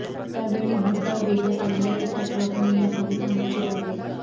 त्यावेळी भरधाव वेगात आलेल्या एका ट्रकने या भाविकांना चिरडले